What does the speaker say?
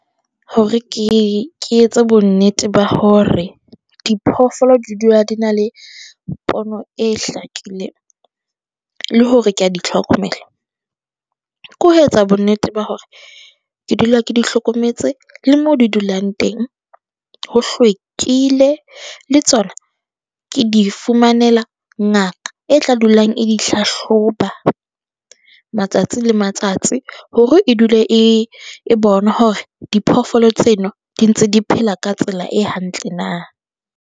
Hore ke, ke etse bonnete ba hore diphoofolo di dula di na le pono e hlakileng, le hore ke a di tlhokomela. Ke ho etsa bonnete ba hore ke dula ke di hlokometse le mo di dulang teng ho hlwekile, le tsona ke di fumanela ngaka e tla dulang e di hlahloba matsatsi le matsatsi hore e dule e, e bonwa hore diphoofolo tseno di ntse di phela ka tsela e hantle na.